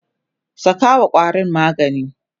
sakawa ƙwarin magani!